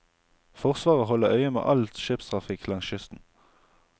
Forsvaret holder øye med all skipstrafikk langs kysten.